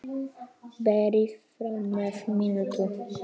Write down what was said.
Berið fram með mintu.